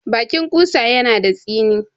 Baƙin ƙutsa yana da tsini.